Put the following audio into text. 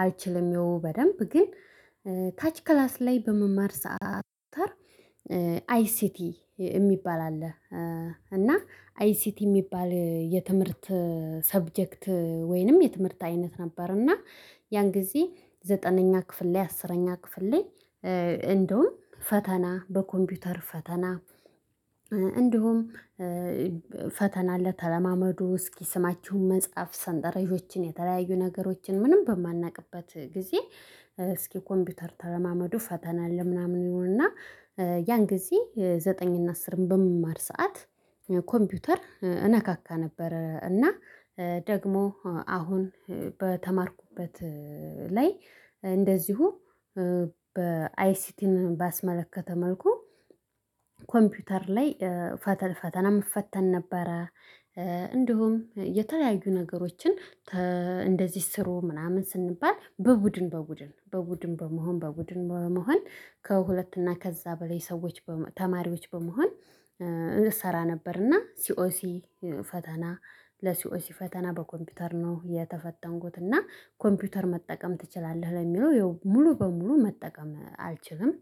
አልችልም ይሄው በደንብ ግን ታች ክላስ ላይ በምማር ሰዓት አይሲቲ የሚባል አለ። እና አይሲቲ የሚባል የትምህርት ሳብጀክት ወይንም የትምህርት አይነት ነበር። እና ያን ጊዜ ዘጠነኛ ክፍል ላይ አስረኛ ክፍል ላይ እንደውም ፈተና በኮምፒውተር ፈተና እንዲሁም አለ። ተለማመዱ እስኪ ስማችሁን መጽሐፍ ሰንጠረጆችን የተለያዩ ነገሮችን ምንም በማናውቅበት ጊዜ እስኪ ኮምፒተር ተለማመዱ ፈተና አለ። ምናምን ይሉን እና ያን ጊዜ ዘጠኝ እና አስርም በምማር ሰዓት ኮምፒውተር እነካካ ነበረ። እና ደግሞ አሁን በተማርኩበት ላይ እንደዚሁ በአይሲቲን ባስመለከተ መልኩ ኮምፒውተር ላይ ፈተን ፈተና እፈተን ነበረ። እንዲሁም የተለያዩ ነገሮችን እንደዚህ ስሩ ምናምን ስንባል በቡድን በቡድን በቡድን በመሆን በቡድን በመሆን ከሁለት እና ከዛ በላይ ሰዎች ተማሪዎች በመሆን እንሰራ ነበር። እና ሲኦሲ ፈተና ለሲኦሲ ፈተና በኮምፒውተር ነው የተፈተንኩት እና ኮምፒውተር መጠቀም ትችላለህ ለሚለው ይኸው ሙሉ በሙሉ መጠቀም አልችልም